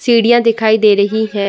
सीढ़ियाँ दिखाई दे रही हैं।